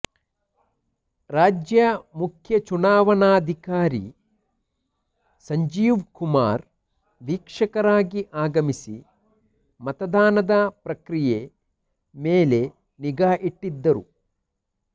ರಾಜ್ಯ ಮುಖ್ಯ ಚುನಾವಣಾಧಿಕಾರಿ ಸಂಜೀವ್ಕುಮಾರ್ ವೀಕ್ಷಕರಾಗಿ ಆಗಮಿಸಿ ಮತದಾನದ ಪ್ರಕ್ರಿಯೆ ಮೇಲೆ ನಿಗಾ ಇಟ್ಟಿದ್ದರು